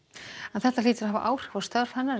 þetta hlýtur að hafa áhrif á störf hennar að